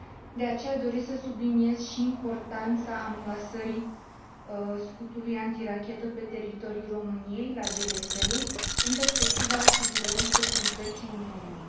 De aceea, doresc să subliniez și importanța amplasării scutului antirachetă pe teritoriul României, la Deveselu, în perspectiva asigurării securității Uniunii.